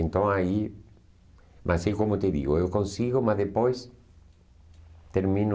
Então aí, mas é como eu te digo, eu consigo, mas depois termino...